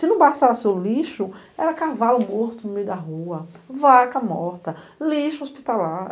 Como se não bastasse o lixo, era cavalo morto no meio da rua, vaca morta, lixo hospitalar.